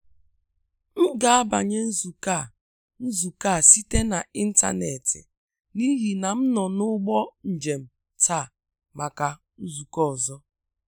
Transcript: M ga abanye nzukọ a nzukọ a site n'ịntanetị, n’ihi na m nọ n’ụgbọ njem taa maka nzukọ ọzọ.